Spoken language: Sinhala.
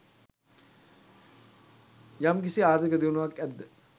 යම්කිසි ආර්ථික දියුණුවක් ඇද්ද